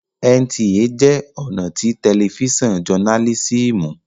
NTA jẹ́ ọ̀nà tí tẹlifísàn jọnálísìmù